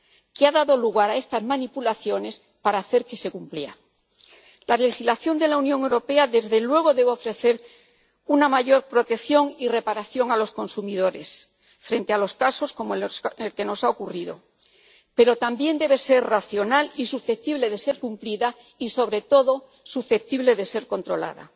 que ha dado lugar a estas manipulaciones para hacer que se cumpliera. La legislación de la Unión Europea, desde luego, debe ofrecer una mayor protección y reparación a los consumidores frente a los casos como el que nos ha ocurrido, pero también debe ser racional y susceptible de ser cumplida y, sobre todo, susceptible de ser controlada.